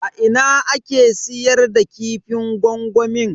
A ina ake siyar da kifin gwangwamin?